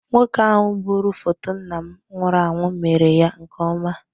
Nwoke ahụ gburu foto nna m nwụrụ anwụ mere ya nke ọma.